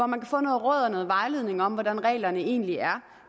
man kan få noget råd og noget vejledning om hvordan reglerne egentlig er